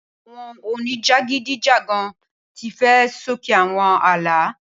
Awon onijagidijagan ti fẹ soke awọn aala